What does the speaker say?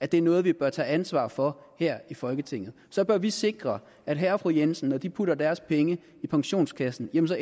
det noget vi bør tage ansvar for her i folketinget så bør vi sikre at herre og fru jensen når de putter deres penge i pensionskassen ender